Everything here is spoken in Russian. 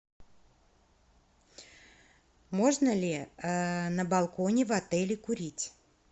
можно ли на балконе в отеле курить